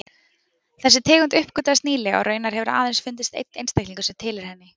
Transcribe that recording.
Þessi tegund uppgötvaðist nýlega og raunar hefur aðeins fundist einn einstaklingur sem tilheyrir henni.